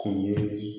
Kun ye